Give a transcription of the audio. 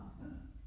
Ja